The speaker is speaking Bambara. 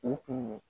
U kun